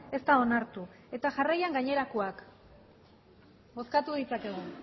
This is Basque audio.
ez da onartu eta jarraian gainerakoak bozkatu ditzakegu